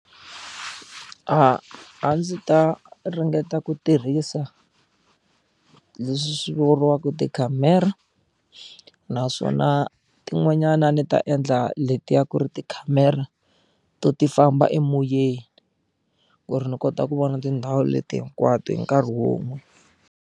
A ndzi ta ringeta ku tirhisa leswi swi vuriwaka tikhamera naswona tin'wanyana a ni ta endla letiya ku ri tikhamera to ti famba emoyeni ku ri ni kota ku vona tindhawu leti hinkwato hi nkarhi wun'we.